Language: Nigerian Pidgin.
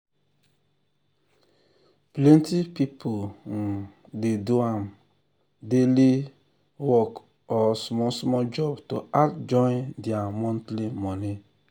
plenty people um dey do um daily um work or small small job to add join their monthly money.